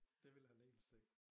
Det vil han helt sikkert